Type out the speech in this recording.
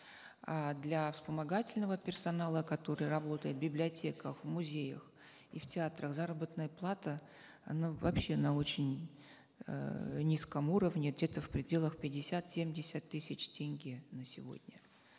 а для вспомогательного персонала который работает в библиотеках музеях и в театрах заработная плата она вообще на очень э низком уровне где то в пределах пятьдесят семьдеяст тысяч тенге на сегодня